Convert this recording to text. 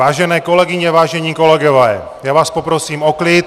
Vážené kolegyně, vážení kolegové, já vás poprosím o klid!